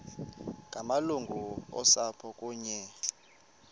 ngamalungu osapho kunye